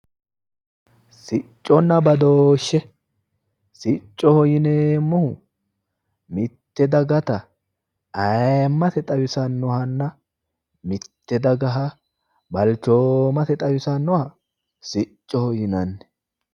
Sicconna badooshe, siccoho yinneemmohu mite dagatta ayimmase xawisanohanna mite dagaha balchooma xawisanoha siccoho yinnanni